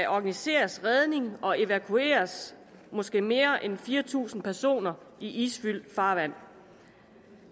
organiseres redning og evakuering af måske mere end fire tusind personer i isfyldt farvand